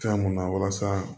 Fɛn mun na walasa